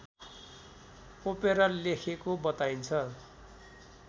opera लेखेको बताइन्छ